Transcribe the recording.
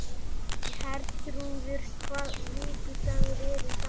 Herþrúður, hvaða vikudagur er í dag?